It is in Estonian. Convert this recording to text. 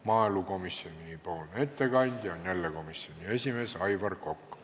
Maaelukomisjoni ettekandja on jälle komisjoni esimees Aivar Kokk.